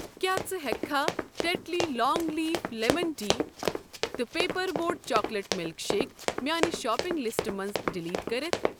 کیٛاہ ژٕ ہٮ۪کہٕ کھہ Tetley long leaf lemon tea تہٕ paper boat chocolate milk shake میاٛنہِ شاپِنٛگ لِسٹہٕ منٛزٕ ڈلیٹ کٔرِتھ ؟